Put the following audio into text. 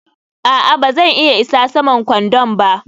a'a, ba zan iya isa saman kwandon ba